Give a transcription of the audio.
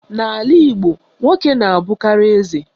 N'ala Igbo, nwoke na-abụkarị eze.